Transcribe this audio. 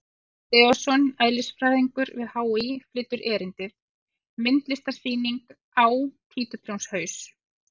Kristján Leósson, eðlisverkfræðingur við HÍ, flytur erindið: Myndlistarsýning á títuprjónshaus!